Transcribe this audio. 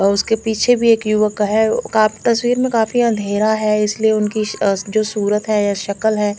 और उसके पीछे भी एक युवक का है तस्वीर में काफी अँधेरा है इसलिए उनकी अ जो सूरत है सकल है--